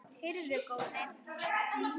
Heyrðu góði.